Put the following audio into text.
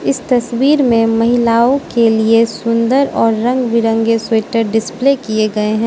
तस्वीर में महिलाओं के लिए सुंदर और रंग बिरंगे स्वेटर डिस्प्ले किए गए हैं।